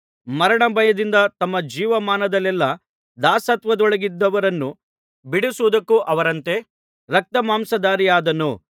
ಮರಣ ಭಯದಿಂದ ತಮ್ಮ ಜೀವಮಾನದಲ್ಲೆಲ್ಲಾ ದಾಸತ್ವದೊಳಗಿದ್ದವರನ್ನು ಬಿಡಿಸುವುದಕ್ಕೂ ಅವರಂತೆ ರಕ್ತಮಾಂಸಧಾರಿಯಾದನು